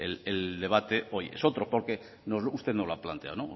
bueno el debate hoy es otro porque usted no lo ha planteado